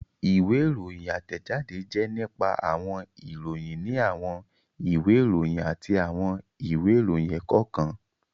Ìwé ìròyìn átẹ̀jáde jẹ́ nípa àwọn ìròyìn ní àwọn ìwé ìròyìn àti àwọn ìwé ìròyìn ẹ̀kọ́ kan